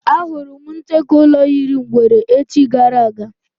Á hụrụ m ncheke ụlọ yiri ngwere echi gara aga